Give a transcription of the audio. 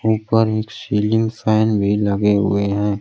ऊपर एक ceiling fan भी लगे हुए हैं।